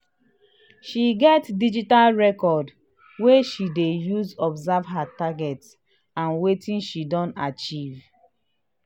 she get digital record wey she dey use observe her target and wetin she don achieve.